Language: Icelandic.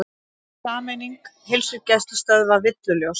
Sameining heilsugæslustöðva villuljós